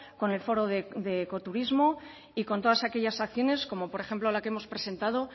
con el foro de ecoturismo y con todas aquellas acciones como por ejemplo la que hemos presentado